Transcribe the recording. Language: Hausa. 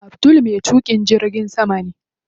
Abdul me tuƙin jirgin sama ne.